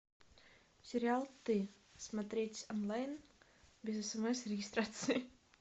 сериал ты смотреть онлайн без смс и регистрации